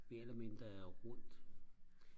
mere eller mindre er rundt